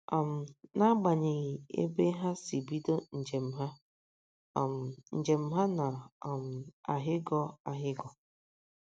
um N’agbanyeghị ebe ha si bido njem ha, um njem ha na um - ahịgọ ahịgọ.